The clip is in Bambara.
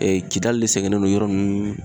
Ee kidali de sɛngɛlen don yɔrɔ nunnu